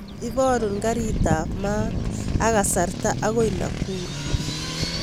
Ibarun karit ab maat ak kasarta agoi nakuru